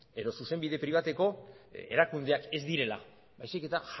edo zuzenbide pribatuko erakundeak ez direla baizik eta